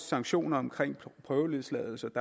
sanktioner omkring prøveløsladelse